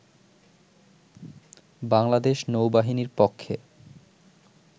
বাংলাদেশ নৌ বাহিনীর পক্ষে